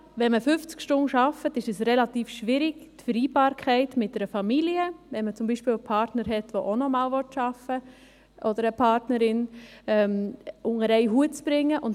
Wenn man 50 Stunden arbeitet, ist die Vereinbarkeit mit einer Familie relativ schwierig, wenn man zum Beispiel einen Partner oder eine Partnerin hat, der oder die auch arbeiten will.